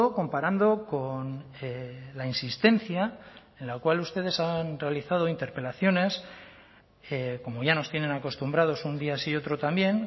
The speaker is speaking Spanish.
comparando con la insistencia en la cual ustedes han realizado interpelaciones como ya nos tienen acostumbrados un día sí y otro también